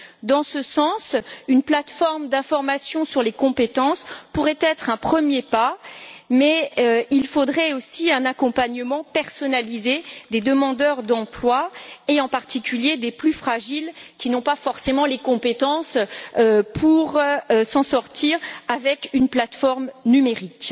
Dans ce sens, une plateforme d'information sur les compétences pourrait être un premier pas, mais il faudrait aussi un accompagnement personnalisé des demandeurs d'emploi et, en particulier, des plus fragiles, qui n'ont pas forcément les compétences pour s'en sortir avec une plateforme numérique.